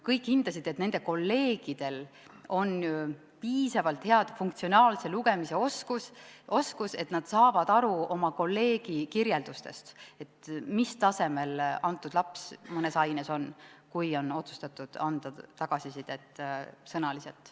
Kõik hindasid, et nende kolleegidel on piisavalt hea funktsionaalse lugemise oskus, et nad saavad aru oma kolleegi kirjeldustest, mis tasemel laps mõnes aines on, kui on otsustatud anda tagasisidet sõnaliselt.